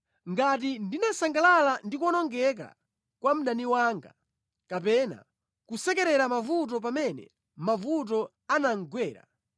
“Ngati ndinasangalala ndi kuwonongeka kwa mdani wanga, kapena kusekera mavuto pamene mavuto anamugwera,